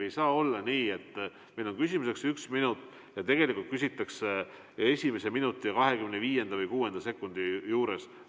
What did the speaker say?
Ei saa olla nii, et meil on küsimuseks üks minut ja tegelikult küsitakse siis, kui on möödunud esimene minut ja 25 või 26 sekundit.